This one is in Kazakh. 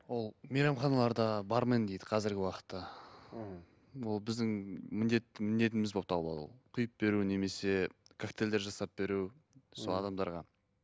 ол мейрамханаларда бармен дейді қазіргі уақытта мхм ол біздің міндет міндетіміз болып табылады ол құйып беру немесе коктейльдер жасап беру сол адамдарға